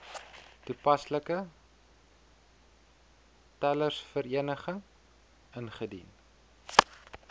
toepaslike telersvereniging ingedien